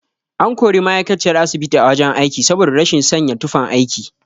An kori ma'aikaciyar asibiti a wajen aiki saboda rashin sanya tufan aiki.